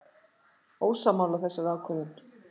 Ósammála þessari ákvörðun?